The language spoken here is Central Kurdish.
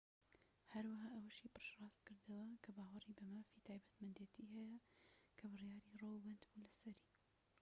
هەروەها ئەوەشی پشت ڕاستکردەوە کە باوەڕی بە مافی تایبەتمەندێتی هەیە کە بڕیاری ڕۆو بەندبوو لەسەری